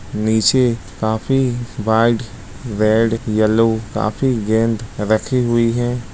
नीचे काफी white red yellow काफी गेंद रखी हुई है।